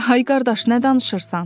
Ay qardaş, nə danışırsan?